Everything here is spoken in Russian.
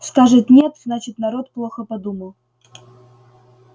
скажет нет значит народ плохо подумал